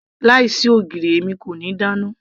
láì sí ogiri èmi kò ní dáná